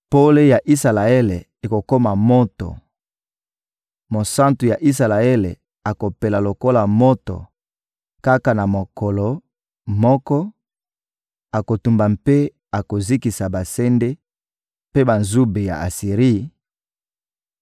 Pole ya Isalaele ekokoma moto, Mosantu ya Isalaele akopela lokola moto; kaka na mokolo moko, akotumba mpe akozikisa basende mpe banzube ya Asiri,